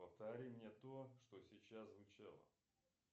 повтори мне то что сейчас звучало